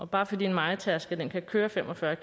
bare fordi en mejetærsker kan køre fem og fyrre